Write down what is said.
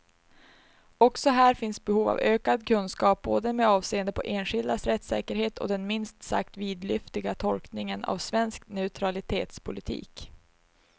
Också här finns behov av ökad kunskap, både med avseende på enskildas rättssäkerhet och den minst sagt vidlyftiga tolkningen av svensk neutralitetspolitik.